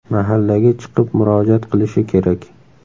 Mahallaga chiqib murojaat qilishi kerak.